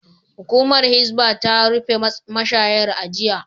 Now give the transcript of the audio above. Hukumar Hisbah ta rufe mashayar a jiya